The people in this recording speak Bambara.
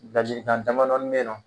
Ladilikan damadɔni be yen nɔ